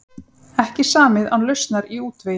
Ekki samið án lausnar í útvegi